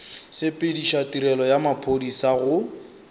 sepediša tirelo ya maphodisa go